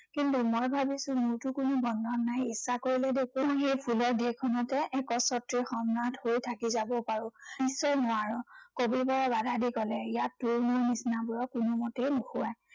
কিন্তু মই ভাবিছো মোৰটো কোনো বন্ধন নাই। ইচ্ছা কৰিলে দেখোন সেই ফুলৰ দেশখনতে একচ্ছত্ৰী সম্ৰাট হৈ থাকি যাব পাৰো। নিশ্চয় নোৱাৰ, কবিবৰে বাধা দি কলে, ইয়াত তোৰ মোৰ নিচিনাবোৰৰ কোনোমতেই নুশুৱায়।